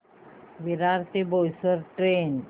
विरार ते बोईसर ट्रेन